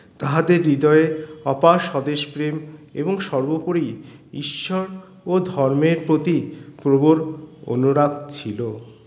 তাহাদের হৃদয়ে অপার স্বদেশ প্রেম এবং সর্বোপরি ঈশ্বর ও ধর্মের প্রতি প্রবল অনুরাগ ছিল